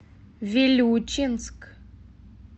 вилючинск